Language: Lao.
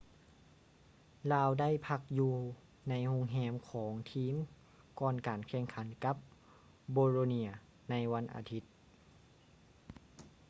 ລາວໄດ້ພັກຢູ່ໃນໂຮງແຮມຂອງທີມກ່ອນການແຂ່ງຂັນກັບ bolonia ໃນວັນອາທິດ